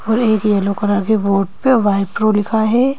और एक yellow colour के बोर्ड पे वाइप्ऱो लिखा है।